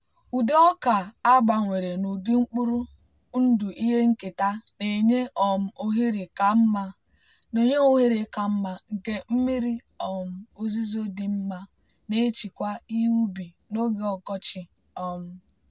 ụdị ọka a gbanwere n'ụdị mkpụrụ ndụ ihe nketa na-enye um ohere ka mma nke mmiri um ozuzo dị mma na-echekwa ihe ubi n'oge ọkọchị. um